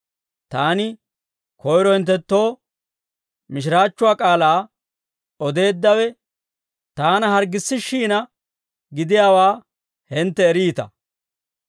Taani koyro hinttenttoo mishiraachchuwaa k'aalaa odeeddawe taana harggissishshiina gidiyaawaa hintte eriita.